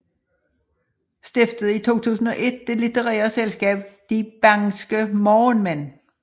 Stiftede i 2001 det litterære selskab De Bangske Morgenmænd